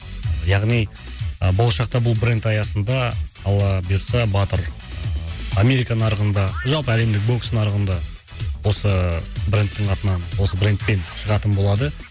яғни ы болашақта бұл бренд аясында алла бұйыртса батыр ы америка нарығында жалпы әлемдік бокс нарығында осы ы брендтің атынан осы брендпен шығатын болады